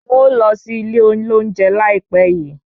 N̄ ó lọ sí ilé olóunje láìpẹ́ yii